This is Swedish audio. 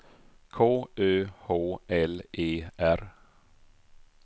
K Ö H L E R